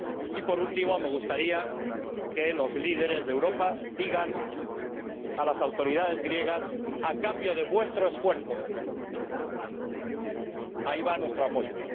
Y, por último, me gustaría que los líderes de Europa digan a las autoridades griegas A cambio de vuestro esfuerzo, ahí va nuestro apoyo.